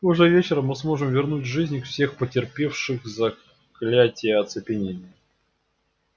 уже вечером мы сможем вернуть к жизни всех претерпевших заклятие оцепенения